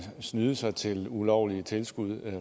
snyde sig til ulovlige tilskud